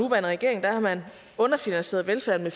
regering har man underfinansieret velfærden